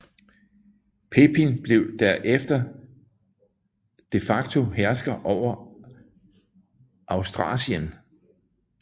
Pepin blev der efter de facto hersker over Austrasien